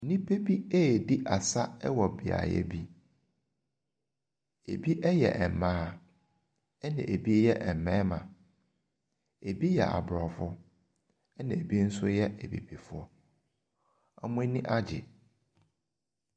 Nnipa bi redi asɛ wɔ beaeɛ bi. Ebi yɛ mmaa na ebi yɛ mmarima. Ɛbi yɛ Aborɔfo na ebi nso yɛ Abibifoɔ. Wɔn ani agye.